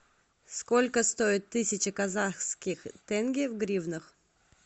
сколько стоит тысяча казахских тенге в гривнах